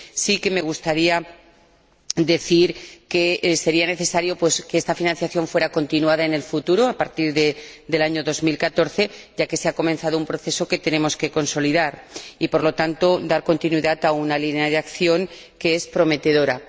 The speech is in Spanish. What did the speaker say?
Sí que me gustaría decir que sería necesario que esta financiación continuara en el futuro, a partir del año 2014, ya que se ha comenzado un proceso que tenemos que consolidar y, por lo tanto, dar continuidad a una línea de acción que es prometedora.